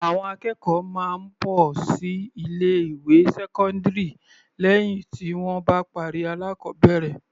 Àwọn akẹ́kọ̀ọ́ máa ń bọ́ sí ilé ìwé sẹ́kọ́ndírì lẹ́hìn tí wọ́n bá parí alákọbẹ̀rẹ̀.